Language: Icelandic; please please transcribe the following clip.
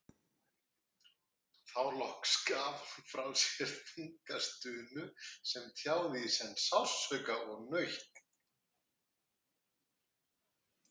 Þá loks gaf hún frá sér þunga stunu sem tjáði í senn sársauka og nautn.